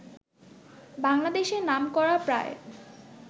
বাংলাদেশের নামকরা প্রায়